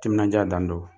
Timinandiya dan don